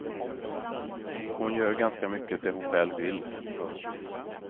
Hon gör ganska mycket det hon själv vill. punkt